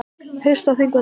Haust á Þingvöllum.